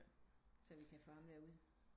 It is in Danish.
Så vi kan få ham der ud